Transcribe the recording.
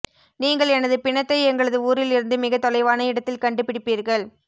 நீங்கள் எனது பிணத்தை எங்களது ஊரில் இருந்து மிக தொலைவான இடத்தில் கண்டு பிடிப்பீர்கள்